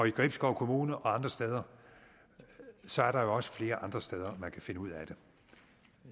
i gribskov kommune og andre steder så er der jo også flere andre steder man kan finde ud af det